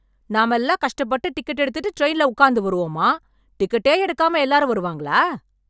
நாம எல்லாம் கஷ்டப்பட்டு டிக்கெட் எடுத்துட்டு ட்ரெயின்ல உட்கார்ந்து வருவோமா டிக்கெட்டே எடுக்காம எல்லாரும் வருவாங்களா